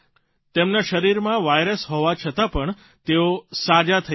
તેમના શરીરમાં વાયરસ હોવા છતાં પણ તેઓ સાજા થઇ રહ્યા છે